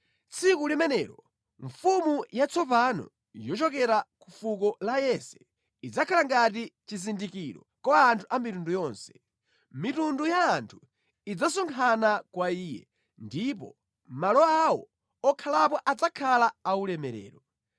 Tsiku limenelo mfumu yatsopano yochokera pa Muzu wa Yese idzakhala ngati chizindikiro kwa anthu a mitundu yonse. Mitundu ya anthu idzasonkhana kwa Iye, ndipo malo awo okhalapo adzakhala aulemerero.